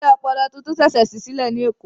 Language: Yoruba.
Ilé ọpọlọ tuntun ṣẹ̀ṣẹ̀ ṣí sílẹ̀ ní Èkó